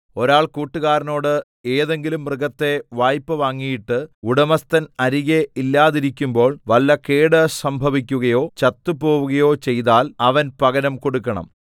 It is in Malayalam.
ഒരാൾ കൂട്ടുകാരനോട് ഏതെങ്കിലും മൃഗത്തെ വായ്പ വാങ്ങിയിട്ട് ഉടമസ്ഥൻ അരികെ ഇല്ലാതിരിക്കുമ്പോൾ വല്ല കേട് സംഭവിക്കുകയോ ചത്തുപോവുകയോ ചെയ്താൽ അവൻ പകരം കൊടുക്കണം